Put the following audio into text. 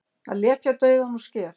Að lepja dauðann úr skel